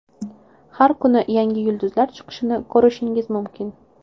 Har kuni yangi yulduzlar chiqishini ko‘rishingiz mumkin.